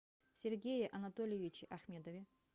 сергее анатольевиче ахмедове